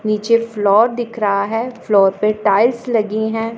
नीचे फ्लोर दिख रहा है फ्लोर पर टाइल्स लगी हैं।